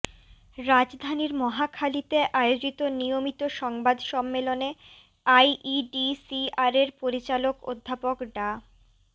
রাজধানীর মহাখালীতে আয়োজিত নিয়মিত সংবাদ সম্মেলনে আইইডিসিআরের পরিচালক অধ্যাপক ডা